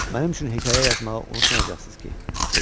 Mənim üçün hekayə yazmağı unutmayacaqsınız ki, dedi.